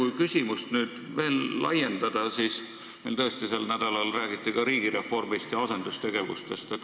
Ja kui küsimust veel laiendada, siis sel nädalal räägiti meil ka riigireformist ja asendustegevustest.